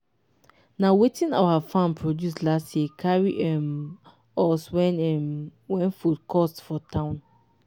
na wetin our farm produce last year carry um us when um when food cost for town